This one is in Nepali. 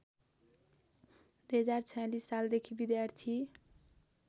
२०४६ सालदेखि विद्यार्थी